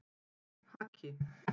Haki